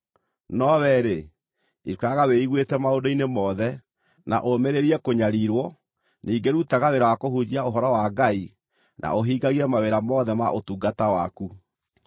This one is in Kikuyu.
No wee-rĩ, ikaraga wĩiguĩte maũndũ-inĩ mothe, na ũmĩrĩrie kũnyariirwo, ningĩ rutaga wĩra wa kũhunjia ũhoro wa Ngai, na ũhingagie mawĩra mothe ma ũtungata waku.